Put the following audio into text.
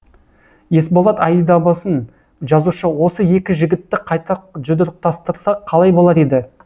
есболат айдабасын жазушы осы екі жігітті қайта жұдырықтастырса қалай болар еді